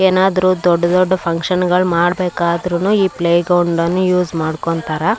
ಏನಾದ್ರು ದೊಡ್ಡ್ ದೊಡ್ಡ್ ಫುನ್ಕ್ಷನ್ಸ್ ಗಳು ಮಾಡಬೇಕಾದ್ರು ಈ ಪ್ಲೇ ಗ್ರೌಂಡ್ ಅನ್ನ ಯೂಸ್ ಮಾಡ್ಕೊಂತರ.